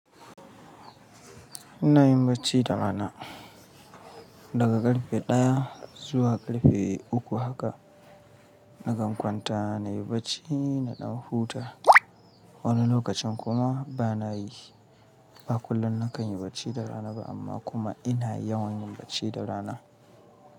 Ina yin bacci da rana daga ƙarfe ɗaya zuwa karfe uku haka. Nakan kwanta nayi bacci in ɗan huta. Wani lokacin kuma bana yi. Ba kullum na kan yi bacci da rana ba amma kuma ina yawan yin bacci da rana.